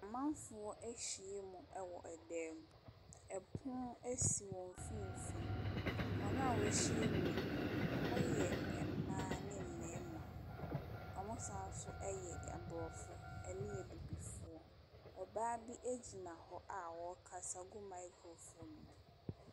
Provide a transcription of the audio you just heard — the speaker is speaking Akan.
Amanfoɔ ahyiam wɔ dan mu. Ɛpono si wɔn mfimfini. Wɔn a wɔahyiam no, wɔyɛ mmaa ne mmarima. Wɔsan nso yɛ Mmorɔfo ne Abibifoɔ. Ɔbaa bi gyina hɔ a ɔrekasa gu microphone mu.